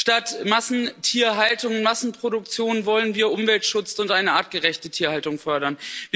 Statt Massentierhaltung, Massenproduktion wollen wir Umweltschutz und eine artgerechte Tierhaltung fördern.